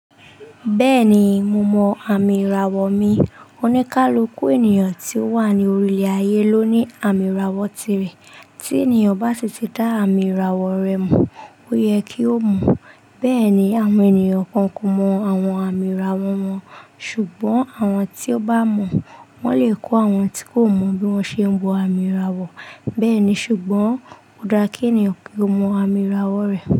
Bẹ́ẹ̀ni, mo mọ àmì ìràwọ̀ mi. Onikaluku ènìyàn ti o wa ni orilẹ ayé lo ni àmì ìràwọ̀ tirẹ tí ènìyàn bá si ti dá àmì ìràwọ̀ rẹ̀ mọ̀, ó yẹ kí ó mọ̀. Bẹ́ẹ̀ni, àwọn ènìyàn kan ko mọ àwọn àmì ìràwọ̀ wọn, ṣùgbọ́n àwọn tí ó bá mọ̀, wọ́n lè kọ́ àwọn tí kò mọ bí wọ́n ṣe ń wọ àmì ìràwọ̀. Bẹ́ẹ̀ni, ṣùgbọ́n ò dára kí ènìyàn kí ó mọ àmì ìràwọ̀ rẹ̀.